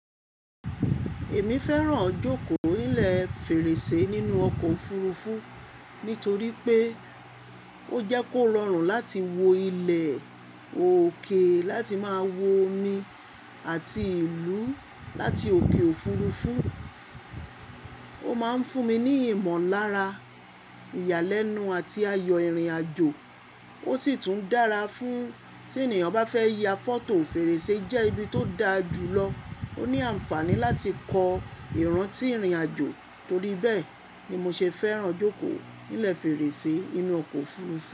Èmi fẹ́ràn jókòó nílẹ̀ fèrèsé nínú ọkọ̀ òfurufú nítorí pé ó jẹ́ kó rọrùn láti wo ilẹ̀ òkè láti máa wo omi àti ìlú láti òkè òfurufú. Ó máa ń fún mi ní ìmọ̀lára, ìyàlẹ́nu àti ayọ̀ ìrìnàjò. Ó sì tún dára fún tí ènìyàn bá fẹ́ ya fọ́tò fèrèsé jẹ́ ibi tó dáa jùlọ. Ó ní ànfàní láti kọ ìrántí ìrìnàjò. Torí bẹ́ẹ̀ ni mo ṣe fẹ́ràn jókòó nílẹ̀ fèrèsé nínú ọkọ̀ òfurufú.